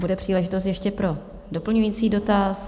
Bude příležitost ještě pro doplňující dotaz.